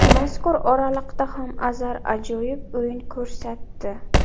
Mazkur oraliqda ham Azar ajoyib o‘yin ko‘rsatdi.